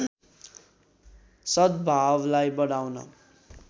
सद्‌भावलाई बढाउन